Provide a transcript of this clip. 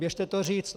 Běžte to říct.